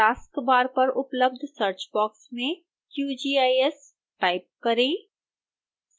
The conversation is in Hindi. taskbar पर उपलब्ध search बॉक्स में qgis टाइप करें